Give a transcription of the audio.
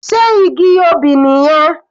Sé igi obì nìyẹn?